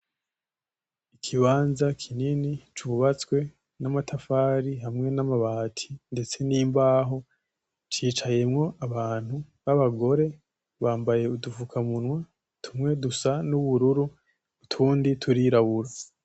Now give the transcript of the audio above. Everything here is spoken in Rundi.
Ikibanza kinini cubatswe nama tafari hamwe na ma bati ndetse n'imbaho, hicayemwo abantu babagore bambaye udufukamunwa, tumwe dusa n'ubururu utundi turirabura.